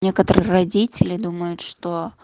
некоторые родители думают что